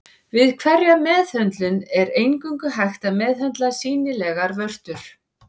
Við hverja meðhöndlun er eingöngu hægt að meðhöndla sýnilegar vörtur.